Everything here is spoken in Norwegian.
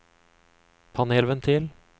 panelventil